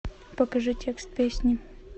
покажи текст песни